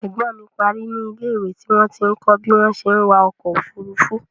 Ẹ̀gbọ́n mi parí ní ilé ìwé tí wọ́n ti ń kọ bí wọ́n ṣé wa ọkọ òfúrúúfú